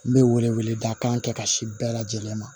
N bɛ wele wele da kan kɛ ka si bɛɛ lajɛlen ma